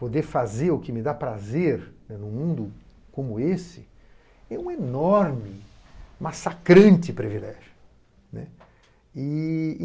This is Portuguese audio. Poder fazer o que me dá prazer num mundo como esse é um enorme, massacrante privilégio.